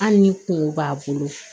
Hali ni kungo b'a bolo